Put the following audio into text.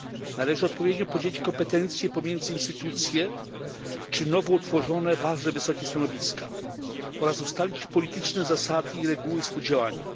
Należy odpowiednio podzielić kompetencje pomiędzy instytucje czy nowo utworzone ważne wysokie stanowiska oraz ustalić polityczne zasady i reguły współdziałania.